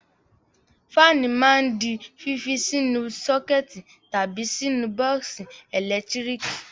Fáánù máa ń di fífi sínú sọ́kẹ́tì tàbí sínú bọ́ọ́sì ẹ̀lẹ́tíríkì.